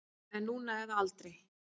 Það er núna eða aldrei.